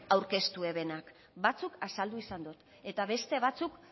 aurkeztu zutenak batzuk azaldu izan ditut eta beste batzuk